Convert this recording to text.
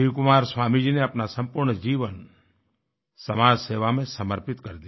शिवकुमार स्वामी जी ने अपना सम्पूर्ण जीवन समाजसेवा में समर्पित कर दिया